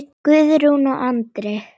Guðrún og Andri.